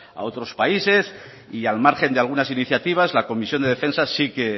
a otros países y al margen de algunas iniciativas la comisión de defensa sí que